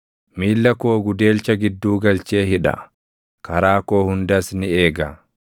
Miilla koo gudeelcha gidduu galchee hidha; karaa koo hundas ni eega.’